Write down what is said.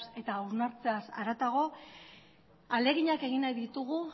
eta hausnartzeaz haratago ahaleginak egin nahi ditugu